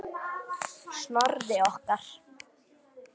Snorri okkar.